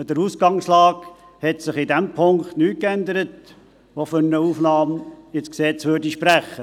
An der Ausgangslage hat sich in diesem Punkt nichts geändert, was für eine Aufnahme ins Gesetz spräche.